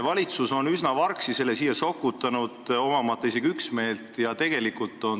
Valitsus on selle üsna vargsi siia sokutanud, omamata isegi üksmeelt.